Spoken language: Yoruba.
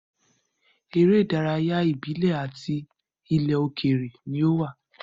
Eré ìdárayá ìbílẹ̀ ati ilẹ̀ òkèèrè ni ó wà.